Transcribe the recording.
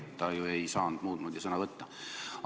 Ta ju ei saanud muud moodi sõna võtta.